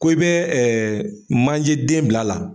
Ko e bɛ ɛɛ manje den bila la